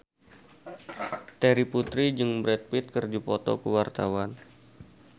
Terry Putri jeung Brad Pitt keur dipoto ku wartawan